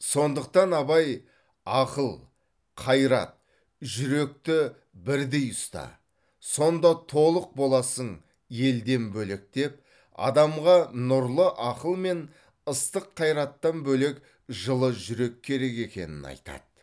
сондықтан абай ақыл қайрат жүректі бірдей ұста сонда толық боласың елден бөлек деп адамға нұрлы ақыл мен ыстық қайраттан бөлек жылы жүрек керек екенін айтады